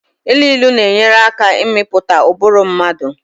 Ilu ilu na-enyere aka ịmụpụta ụbụrụ mmadụ